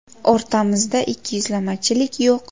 O‘rtamizda ikkiyuzlamachilik yo‘q.